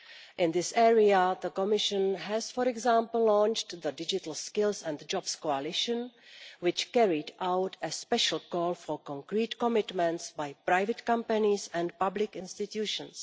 In this area, the Commission has, for example, launched the digital skills and jobs coalition which carried out a special call for concrete commitments by private companies and public institutions.